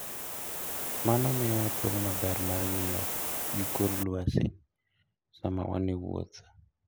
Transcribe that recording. Mano miyowa thuolo maber mar ng'iyo gi kor lwasi sama wan e wuoth.